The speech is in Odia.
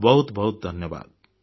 ବହୁତ ବହୁତ ଧନ୍ୟବାଦ